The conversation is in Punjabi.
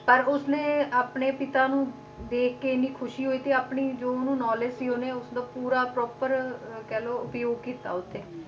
ਪਰ ਉਸਨੇ ਆਪਣੇ ਪਿਤਾ ਨੂੰ ਦੇਖ ਕੇ ਇੰਨੀ ਖ਼ੁਸ਼ੀ ਹੋਈ ਤੇ ਆਪਣੀ ਜੋ ਉਹਨੂੰ knowledge ਸੀ ਉਹਨੇ ਉਸਦਾ ਪੂਰਾ proper ਅਹ ਕਹਿ ਲਓ ਪ੍ਰਯੋਗ ਕੀਤਾ ਉਹ ਤੇ,